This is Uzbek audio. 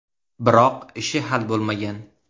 Biroq ishi hal bo‘lmagan.